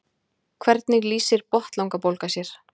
Hvernig lýsir botnlangabólga sér?